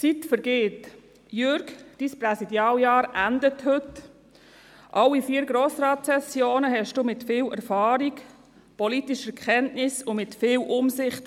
Alle vier Sessionen des Grossen Rates leiteten Sie mit viel Erfahrung, politischen Kenntnissen und mit viel Umsicht.